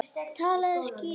Talaðu skýrar.